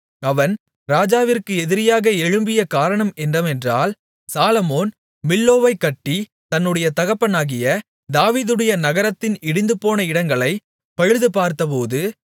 அவன் ராஜாவிற்கு எதிரியாக எழும்பிய காரணம் என்னவென்றால் சாலொமோன் மில்லோவைக்கட்டி தன்னுடைய தகப்பனாகிய தாவீதுடைய நகரத்தின் இடிந்துபோன இடங்களைப் பழுதுபார்த்தபோது